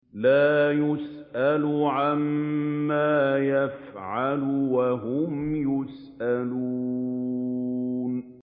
لَا يُسْأَلُ عَمَّا يَفْعَلُ وَهُمْ يُسْأَلُونَ